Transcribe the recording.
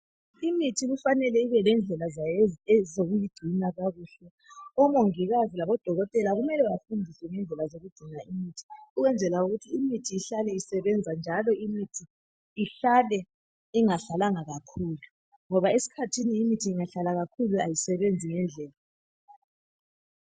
Imithi kufanele ibelendlela zayo ezokuyigcina kakuhle . Omongikazi labodokotela kumele bafundiswe ngendlela zokugcina imithi ukwenzela imithi ihlale isebenza njalo imithi ihlale ingahlalanga kakhulu ngoba esikhathini imithi ingahlala kakhulu ayisebenzi ngendlela.